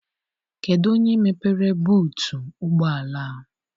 Kedụ onye mepere buutu ụgbọala a?